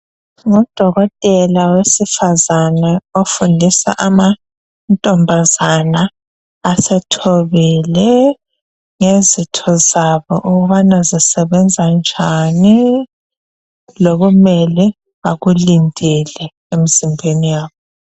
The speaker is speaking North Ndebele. Ngudokotela wesifazana ofundisa amantombazana asethombile ngezitho zabo ukubana zisebenza njani lokumele bakulindele emzimbeni yabo